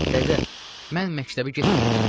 Dədə, mən məktəbə getməyəcəm.